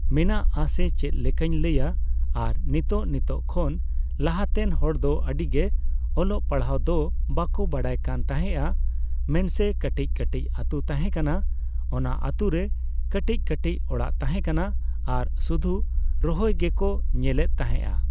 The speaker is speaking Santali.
ᱢᱮᱱᱟᱜ ᱟᱥᱮ ᱪᱮᱫᱞᱮᱠᱟᱧ ᱞᱟᱹᱭᱟ ᱟᱨ ᱱᱤᱛᱚᱜ ᱱᱤᱛᱚᱜ ᱠᱷᱚᱱ ᱞᱟᱦᱟᱛᱮᱱ ᱦᱚᱲᱫᱚ ᱟᱹᱰᱤᱜᱮ ᱚᱞᱚᱜ ᱯᱟᱲᱦᱟᱜ ᱫᱚ ᱵᱟᱠᱚ ᱵᱟᱰᱟᱭ ᱠᱟᱱᱛᱟᱦᱮᱸᱜ ᱟ ᱢᱮᱱᱥᱮ ᱠᱟᱹᱴᱤᱡ ᱠᱟᱹᱴᱤᱡ ᱟᱛᱩ ᱛᱟᱦᱮᱸ ᱠᱟᱱᱟ ᱾ ᱚᱱᱟ ᱟᱛᱩᱨᱮ ᱠᱟᱹᱴᱤᱡ ᱠᱟᱹᱴᱤᱡ ᱚᱲᱟᱜ ᱛᱟᱦᱮᱸ ᱠᱟᱱᱟ ᱟᱨ ᱥᱩᱫᱷᱩ ᱨᱚᱦᱚᱭ ᱜᱮᱠᱚ ᱧᱮᱞᱮᱫ ᱛᱟᱦᱮᱸᱜ ᱟ ᱾